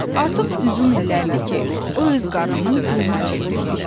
Artıq uzun illərdir ki, o öz qarnının quluna çevrilmişdi.